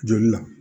Joli la